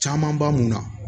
Caman b'a mun na